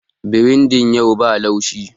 Biredin yau ba laushi